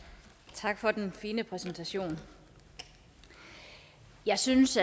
tak for den fine præsentation jeg synes